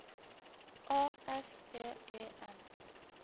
A S P E N